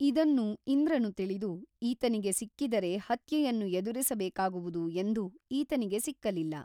ಇದನ್ನು ಇಂದ್ರನು ತಿಳಿದು ಈತನಿಗೆ ಸಿಕ್ಕಿದರೆ ಹತ್ಯೆಯನ್ನು ಎದುರಿಸಬೇಕಾಗುವುದು ಎಂದು ಈತನಿಗೆ ಸಿಕ್ಕಲಿಲ್ಲ.